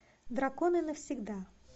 драконы навсегда